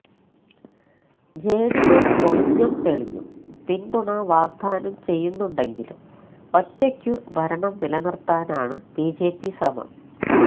ജെഡിഎസ് ഒളിഞ്ഞും തെളിഞ്ഞും പിന്തുണ വാഗ്ദാനം ചെയ്യുന്നുണ്ടെങ്കിലും ഒറ്റയ്ക്കു ഭരണം നിലനിർത്താനാണു ബിജെപി ശ്രമം